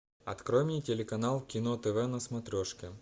открой мне телеканал кино тв на смотрешке